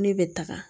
Ne bɛ taga